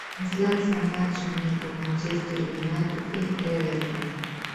трансляция матча между манчестер юнайтед и эвертон